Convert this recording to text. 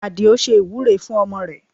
Adio ṣe ìwúre fún ọmọ rẹ̀